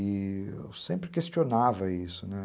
E eu sempre questionava isso, né?